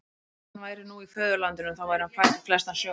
Bara að hann væri nú í föðurlandinu, þá væri hann fær í flestan sjó.